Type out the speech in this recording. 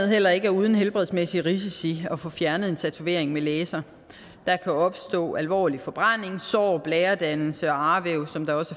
heller ikke uden helbredsmæssige risici at få fjernet en tatovering med laser der kan opstå alvorlig forbrænding sår blæredannelse og arvæv som